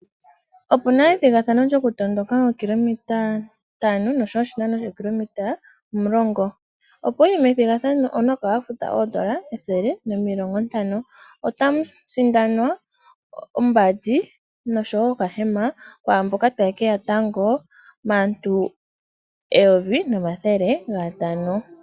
Opuna ethigathano lyokutondoka oshinano shookilometa ntano oshowo shookilometa omulongo, opo wuye methigathano, owuna oku kala wa futa oondola ethele nomilongo ntano. Otamu sindanwa ombandi noshowo okahema kwaamboka taye keya tango maantu eyovi nomathele gatano.